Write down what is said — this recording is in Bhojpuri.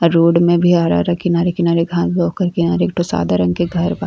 रोड में भी हरा-हरा किनारे-किनारे घास बा ओकरे किनारे एक ठो सादा रंग के घर बा।